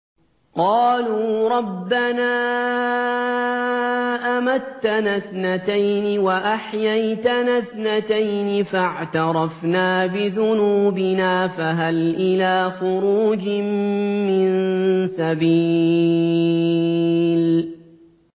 قَالُوا رَبَّنَا أَمَتَّنَا اثْنَتَيْنِ وَأَحْيَيْتَنَا اثْنَتَيْنِ فَاعْتَرَفْنَا بِذُنُوبِنَا فَهَلْ إِلَىٰ خُرُوجٍ مِّن سَبِيلٍ